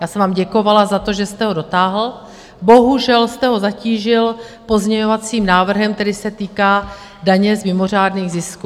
Já jsem vám děkovala za to, že jste ho dotáhl, bohužel jste ho zatížil pozměňovacím návrhem, který se týká daně z mimořádných zisků.